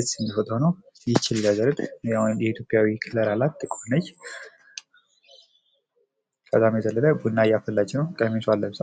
ምስል ፎቶ ነው። ይህ ልጃገረድ ያው የኢትዮጵያዊ ዘር አላት። ጥቁር ነች። በዘለለ ቡና እያፈላች ነው። ቀሚሷን ለብሳ።